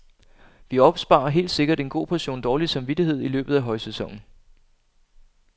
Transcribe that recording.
Vi opsparer helt sikkert en god portion dårlig samvittighed i løbet af højsæsonen.